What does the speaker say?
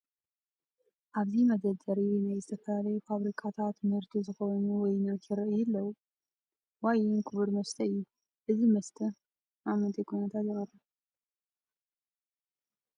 ኣብዚ መደርደሪ ናይ ዝተፈላለዩ ፋብሪካታት ምህርቲ ዝኾኑ ዋይናት ይርአዩ ኣለዉ፡፡ ዋይን ክቡር መስተ እዩ፡፡ እዚ መስተ ኣብ ምንታይ ኩነታት ይቐርብ?